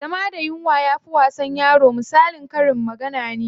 Zama da yunwa yafi wasa da yaro misalin karin magana ne.